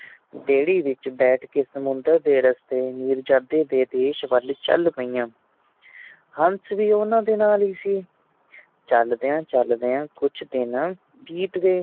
ਬੇੜੀ ਵਿੱਚ ਬੈਠ ਕੇ ਸੁਮੰਦਰ ਦੇ ਰਸਤੇ ਮਿਰਜਾਦੇ ਦੇ ਦੇਸ਼ ਵੱਲ ਚੱਲ ਪਈਆਂ ਹੰਸ ਵੀ ਉਹਨਾਂ ਦੇ ਨਾਲ ਹੀ ਸੀ ਚਲਦਿਆਂ ਚਲਦਿਆਂ ਕੁੱਛ ਦਿਨ ਬੀਤ ਗਏ